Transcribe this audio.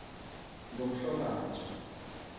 ngomhlolanja